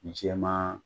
Jɛman